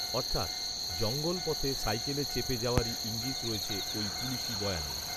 অর্থাৎ জঙ্গলপথে সাইকেলে চেপে যাওয়ারই ঈঙ্গিত রয়েছে ওই পুলিশি বয়ানে